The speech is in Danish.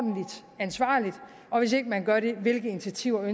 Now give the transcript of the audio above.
ansvarligt og hvis ikke man gør det hvilke initiativer